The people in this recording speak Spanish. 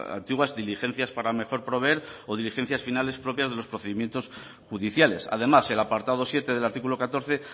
antiguas diligencias para mejor proveer o diligencias finales propias de los procedimientos judiciales además el apartado siete del artículo catorce